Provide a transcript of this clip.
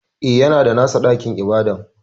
E, yana da nasa ɗakin ibada.